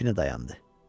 Kəpini dayandı.